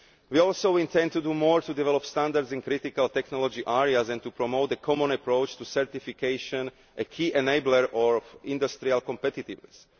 We also intend to do more to develop standards in critical technology areas and to promote a common approach to certification, a key enabler of industrial competitiveness.